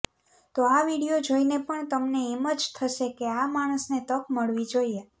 તો આ વીડિયો જોઈને પણ તમને એમ જ થશે કે આ માણસને તક મળવી જોઈએ